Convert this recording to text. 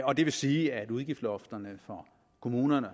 og det vil sige at udgiftslofterne for kommunerne